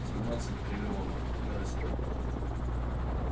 семнадцать триллионов и растёт